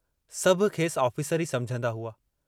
सभु खेसि ऑफिसरु ई समुझंदा हुआ।